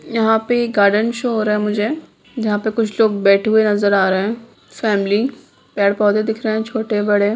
यहाँ पे एक गार्डन शो हो रहा है मुझे जहाँ पर कुछ लोग बैठे हुए नजर आ रहे हैं| फैमिली पेड़ -पौधे दिख रहे हैं छोटे-बड़े।